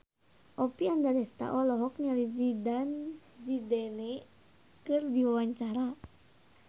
Oppie Andaresta olohok ningali Zidane Zidane keur diwawancara